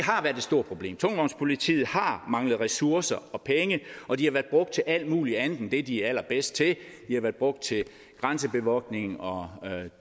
stort problem tungvognspolitiet har manglet ressourcer og penge og de har været brugt til alt muligt andet end det de er allerbedst til de har været brugt til grænsebevogtning og